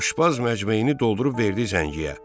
Aşbaz məcmeyini doldurub verdi zəngiyə.